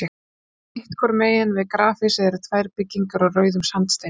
Sitt hvoru megin við grafhýsið eru tvær byggingar úr rauðum sandsteini.